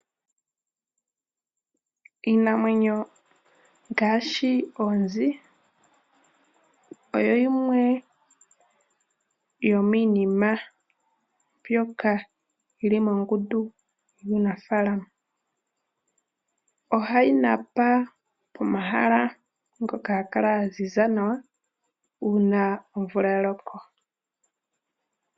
Iinamwenyo ngaashi oonzi oyo yimwe yomiinima mbyoka yili mongundu yuunafaalama. Ohayi napa pomahala ngoka haga kala ga ziza nawa uuna omvula ya loko.